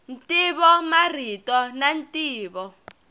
ntivo marito na ntivo